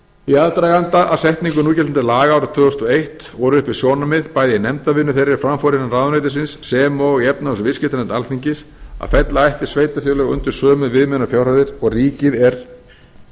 í aðdraganda að setningu núgildandi laga árið tvö þúsund og eitt voru uppi sjónarmið bæði í nefndarvinnu þeirri er fram fór innan ráðuneytisins sem og í efnahags og viðskiptanefnd alþingis að fella ætti sveitarfélög undir sömu viðmiðunarfjárhæðir og ríkið er